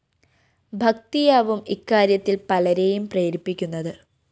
ഭക്തിയാവും ഇക്കാര്യത്തില്‍ പലരേയും പ്രേരിപ്പിക്കുന്നത്